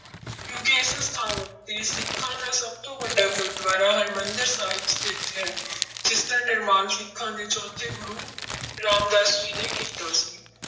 ਕਿਉਂਕਿ ਇਸ ਸਥਾਨ ਉੱਤੇ ਸਿੱਖਾਂ ਦਾ ਸਭ ਤੋਂ ਵੱਡਾ ਗੁਰਦੁਆਰਾ ਹਰਿਮੰਦਰ ਸਾਹਿਬ ਸਥਿੱਤ ਹੈ ਜਿਸਦਾ ਨਿਰਮਾਣ ਸਿੱਖਾਂ ਦੇ ਚੌਥੇ ਗੁਰੂ ਰਾਮਦਾਸ ਜੀ ਨੇ ਕੀਤਾ ਸੀ।